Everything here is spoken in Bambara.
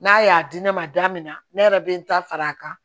N'a y'a di ne ma da min na ne yɛrɛ bɛ n ta fara a kan